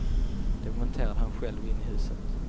Det monterade han själv in i huset.